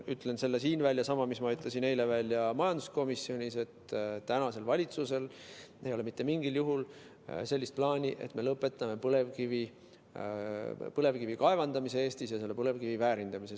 Ütlen siin välja sellesama, mida ma ütlesin eile majanduskomisjonis, et tänasel valitsusel ei ole mitte mingil juhul plaani, et me lõpetame Eestis põlevkivi kaevandamise ja põlevkivi väärindamise.